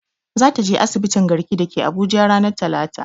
Za ta je asibitin garki da ke abuja ranar talata